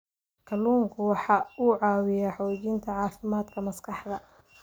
Kalluunku waxa uu caawiyaa xoojinta caafimaadka maskaxda.